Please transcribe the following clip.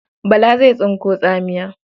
Bala zai tsinko tsamiya.